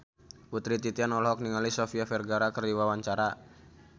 Putri Titian olohok ningali Sofia Vergara keur diwawancara